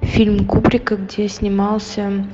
фильм кубрика где снимался